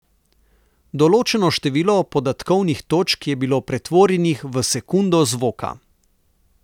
Določeno število podatkovnih točk je bilo pretvorjenih v sekundo zvoka.